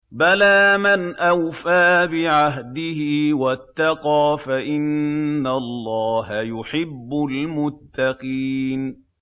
بَلَىٰ مَنْ أَوْفَىٰ بِعَهْدِهِ وَاتَّقَىٰ فَإِنَّ اللَّهَ يُحِبُّ الْمُتَّقِينَ